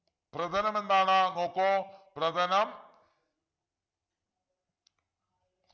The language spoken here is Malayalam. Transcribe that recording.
പ്രഥനം എന്താണ് നോക്കൂ പ്രഥനം